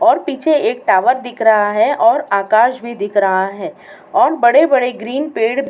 और पीछे एक टावर दिख रहा है और आकाश भी दिख रहा है और बड़े बड़े ग्रीन पेड़ --